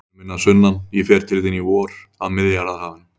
Vinur minn að sunnan, ég fer til þín í vor, að Miðjarðarhafinu.